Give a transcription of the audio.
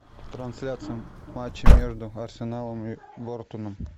трансляция матча между арсеналом и борнмутом